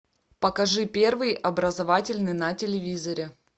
покажи первый образовательный на телевизоре